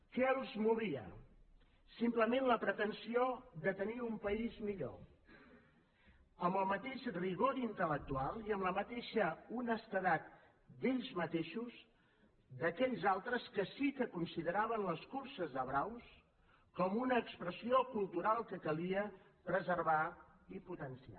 què els movia simplement la pretensió de tenir un país millor amb el mateix rigor intel·lectual i amb la mateixa honestedat d’ells mateixos d’aquells altres que sí que consideraven les curses de braus com una expressió cultural que calia preservar i potenciar